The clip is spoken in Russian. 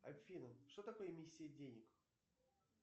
афина что такое миссия денег